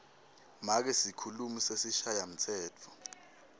make sikhulumi sesishayamtsetfo